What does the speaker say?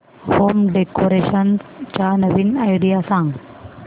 home decoration च्या नवीन idea सांग